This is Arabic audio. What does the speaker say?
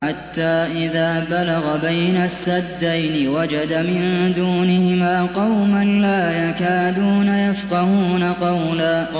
حَتَّىٰ إِذَا بَلَغَ بَيْنَ السَّدَّيْنِ وَجَدَ مِن دُونِهِمَا قَوْمًا لَّا يَكَادُونَ يَفْقَهُونَ قَوْلًا